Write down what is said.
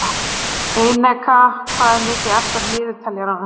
Eneka, hvað er mikið eftir af niðurteljaranum?